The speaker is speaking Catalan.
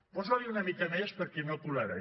posan’hi una mica més perquè no colarà